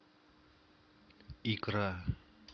икра